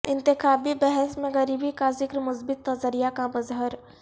انتخابی بحث میں غریبی کا ذکر مثبت نظریہ کا مظہر